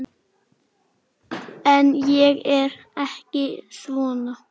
En ég er ekki svona.